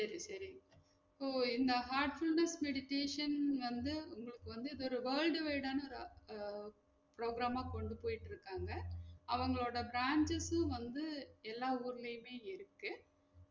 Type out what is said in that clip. செரி செரி இப்போ இந்த heartfulness meditation வந்து உங்களுக்கு வந்து இது ஒரு world wide ஆன ரா~ program ஆ கொண்டு போய்ட்டு இருக்காங்க அவங்களோட branches உம் வந்து எல்லா ஊர்லையுமே இருக்கு